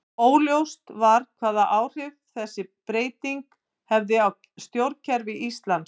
Óljóst var hvaða áhrif þessi breyting hefði á stjórnkerfi Íslands.